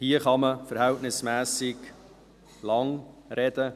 Hier kann man im Vergleich zum Bund verhältnismässig lang sprechen.